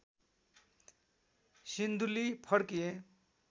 सिन्धुली फर्किए